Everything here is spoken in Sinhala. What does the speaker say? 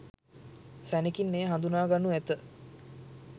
සැණෙකින් එය හදුනා ගනු ඇත.